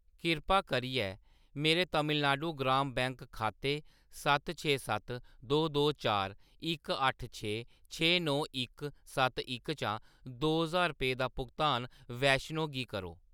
किरपा करियै मेरे तमिलनाडु ग्राम बैंक खाते सत्त छे सत्त दो दो चार इक अट्ठ छे छे नौ इक सत्त इक चा दो ज्हार रपेऽ दा भुगतान वैष्णो गी करो।